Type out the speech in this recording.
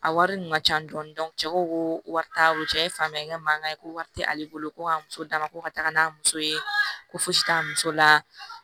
A wari dun ka ca dɔɔni cɛ ko ko wari t'a bolo cɛ ye fa ye n ka mankan ye ko wari tɛ ale bolo ko a muso d'a ma ko ka taga n'a muso ye ko fosi t'a muso la